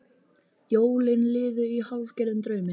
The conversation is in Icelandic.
Jólin liðu í hálfgerðum draumi.